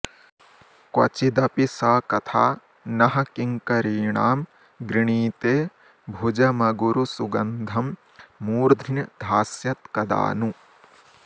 क्वचिदपि स कथा नः किङ्करीणां गृणीते भुजमगुरुसुगन्धं मूर्ध्न्यधास्यत्कदा नु